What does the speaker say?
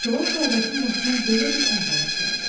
Çolaq qardaşın başına belə bir əhvalat gəldi.